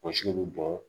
Bɔgɔsi bɛ bɔ